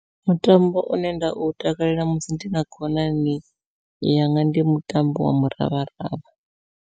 Mutambo une nda u takalela musi ndi na khonani yanga ndi mutambo wa muravharavha.